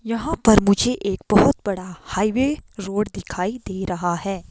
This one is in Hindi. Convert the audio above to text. यहां पर मुझे एक बहोत बड़ा हाईवे रोड दिखाई दे रहा हैं।